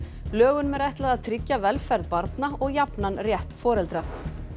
lögunum er ætlað að tryggja velferð barna og jafnan rétt foreldra